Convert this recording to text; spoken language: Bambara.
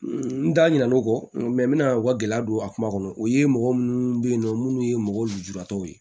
N da ɲina o kɔ n n mɛna u ka gɛlɛya don a kuma kɔnɔ o ye mɔgɔ munnu be yen nɔ munnu ye mɔgɔw lujuratɔw ye